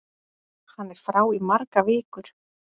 Hann er frá í margar vikur.